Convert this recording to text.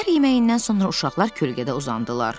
Səhər yeməyindən sonra uşaqlar kölgədə uzandılar.